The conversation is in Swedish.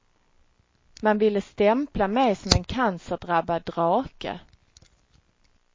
Man ville stämpla mig som en cancerdrabbad drake.